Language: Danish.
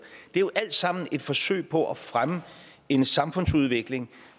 det er jo alt sammen et forsøg på at fremme en samfundsudvikling